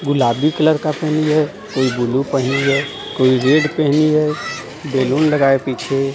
गुलाबी कलर का पहनी है कोई बुलु पहनी है कोई रेड पहनी है बेलून लगाए पीछे.